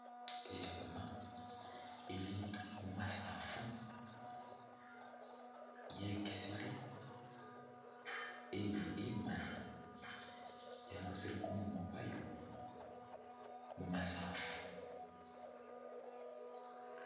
Ikhiima ili mumasaafu yekisile iili imaali yarusiile kumunwa kwayo mumasaafu.